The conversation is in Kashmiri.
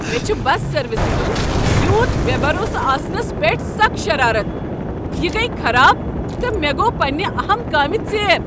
مےٚ چھُ بس سروسہِ ہندِ یوٗت بےٚ بروسہٕ آسنس پیٹھ سکھ شرارتھ۔ یہ گٔیہ خراب، تہٕ مےٚ گوٚو پنٛنہِ اہم كامہِ ژیر۔